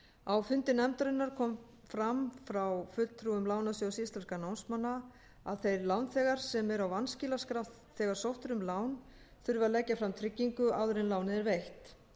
á fundi nefndarinnar kom fram hjá fulltrúum lánasjóðs íslenskra námsmanna að þeir lánþegar sem eru á vanskilaskrá þegar sótt eru um lán þurfi að leggja fram tryggingu áður en lánið er veitt